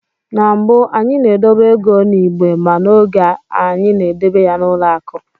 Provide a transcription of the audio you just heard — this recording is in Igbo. Na mbụ, anyị na-edobe ego n'igbe ma n'oge a anyị na-edebe ya n'ụlọ akụ